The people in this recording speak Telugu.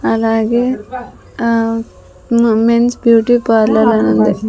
అలాగే ఆహ్ మ్ మెన్స్ బ్యూటీపార్లర్ అని ఉంది.